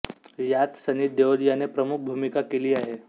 यात सनी देओल याने प्रमुख भूमिका केली आहे